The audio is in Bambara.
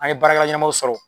An ye baarakɛla ɲɛnɛmaw sɔrɔ